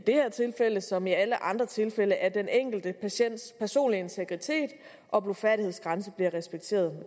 her tilfælde som i alle andre tilfælde at den enkelte patients personlige integritet og blufærdighedsgrænse bliver respekteret